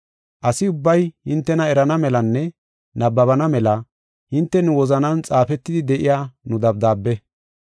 Asi ubbay hintena erana melanne nabbabana mela hinte nu wozanan xaafetidi de7iya nu dabdaabe.